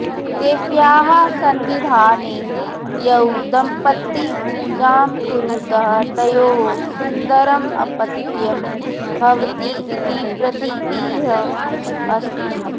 देव्याः सन्निधाने यौ दम्पती पूजाम् कुरुतः तयोः सुन्दरम् अपत्यं भवति इति प्रतीतिः अस्ति